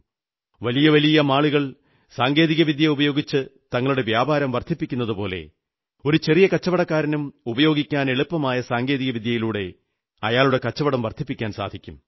വലിയ വലിയ മാളുകൾ സാങ്കേതിക വിദ്യ ഉപയോഗിച്ച് തങ്ങളടെ വ്യാപാരം വർധിപ്പിക്കുന്നതുപോലെ ഒരു ചെറിയ കച്ചവടക്കാരനും ഉപയോഗിക്കാൻ എളുപ്പമുള്ള സാങ്കേതികവിദ്യയിലൂടെ അയാളുടെ കച്ചവടം വർധിപ്പിക്കാൻ സാധിക്കും